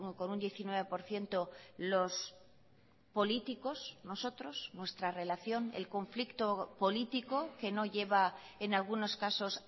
con un diecinueve por ciento los políticos nosotros nuestra relación el conflicto político que no lleva en algunos casos